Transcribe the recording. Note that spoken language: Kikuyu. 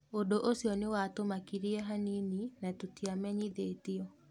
ũndũ ũcio nĩwatũmakirie hanini na tũtiamenyithĩtio.